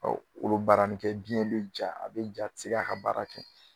Ka olu baara ni kɛ biɲɛ ja a bɛ ja a tɛ se k'a ka baara kɛ